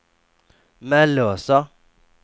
Mellösa